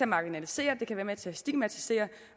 marginalisere det kan være med til at stigmatisere